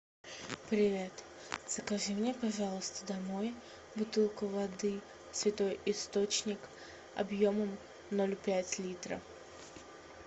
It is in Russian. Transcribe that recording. привет закажи мне пожалуйста домой бутылку воды святой источник объемом ноль пять литра